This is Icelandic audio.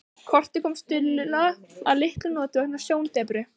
Kortið kom Stulla að litlum notum vegna sjóndepru.